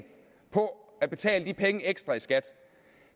på at betale de penge ekstra i skat